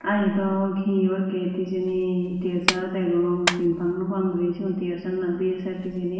tey iyotdw hiyor gate hejani tsr degong sin pang no pang gori segun tar na bsf hejani.